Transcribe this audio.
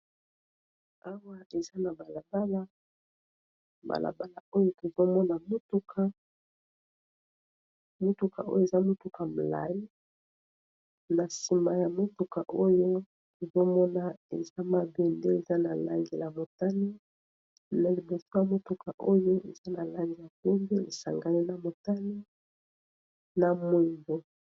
Awa eza na balabala oyo tozomona mutuka ya molayi na sima ya mutuka oyo tomona mabende eza na langi ya motani na liboso ya mutuka oyo eza na langi ya pembe esangani na motani na moyimdo.